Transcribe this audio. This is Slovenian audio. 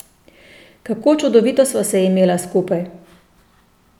Kako čudovito sva se imela skupaj.